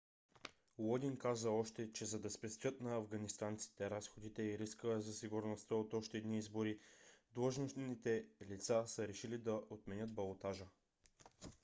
лодин каза още че за да спестят на афганистанците разходите и риска за сигурността от още едни избори длъжностните лица са решили да отменят балотажа